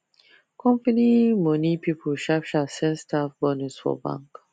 company money people sharp sharp send staff bonus for bank